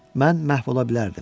Mən məhv ola bilərdim.